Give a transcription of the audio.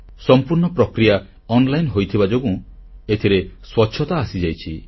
ସମ୍ପୂର୍ଣ୍ଣ ପ୍ରକ୍ରିୟା ଅନଲାଇନ ହୋଇଯାଇଥିବା ଯୋଗୁଁ ଏଥିରେ ସ୍ୱଚ୍ଛତା ଆସିଯାଇଛି